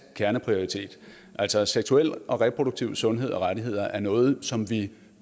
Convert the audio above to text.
kerneprioritet altså seksuel og reproduktiv sundhed og rettigheder er noget som vi